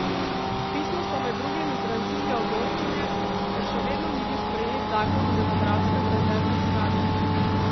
V pismu so med drugim izrazili ogorčenje, ker še vedno ni bil sprejet zakon o demografskem rezervnem skladu.